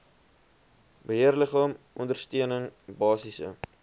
beheerliggaam ondersteuning basiese